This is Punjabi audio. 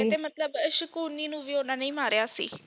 ਕਹਿੰਦੇ ਮਤਲਬ ਸ਼ਕੁਨੀ ਨੂੰ ਵੀ ਉਨ੍ਹਾਂ ਨੇ ਹੀ ਮਾਰੀਆ ਸੀ